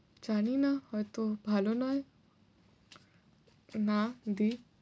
জানিনা, হয়ত ভালো নয়। না, দিই।